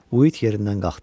Uid yerindən qalxdı.